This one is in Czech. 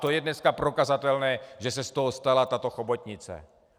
To je dneska prokazatelné, že se z toho stala tato chobotnice.